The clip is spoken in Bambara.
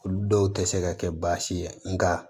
Olu dɔw tɛ se ka kɛ baasi ye nka